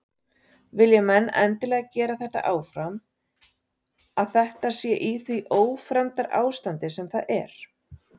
Vilja menn endilega gera þetta áfram að þetta sé í því ófremdarástandi sem það er?